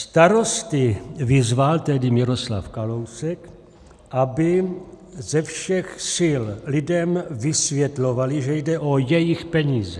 Starosty vyzval tehdy Miroslav Kalousek, aby ze všech sil lidem vysvětlovali, že jde o jejich peníze.